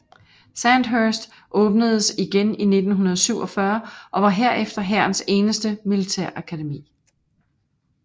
Sandhurst åbnedes igen i 1947 og var herefter hærens eneste militærakademi